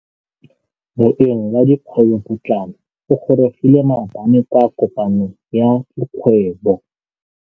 Moêng wa dikgwêbô pôtlana o gorogile maabane kwa kopanong ya dikgwêbô.